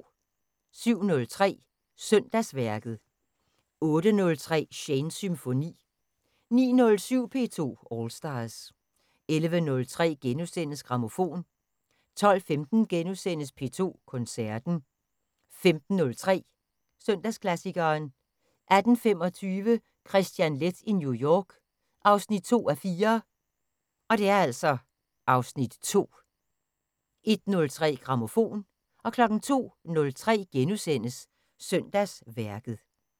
07:03: Søndagsværket 08:03: Shanes Symfoni 09:07: P2 All Stars 11:03: Grammofon * 12:15: P2 Koncerten * 15:03: Søndagsklassikeren 18:25: Kristian Leth i New York (2:4) (Afs. 2) 01:03: Grammofon 02:03: Søndagsværket *